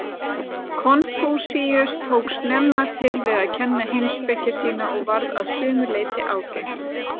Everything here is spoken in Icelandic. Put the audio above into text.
Konfúsíus tók snemma til við að kenna heimspeki sína og varð að sumu leyti ágengt.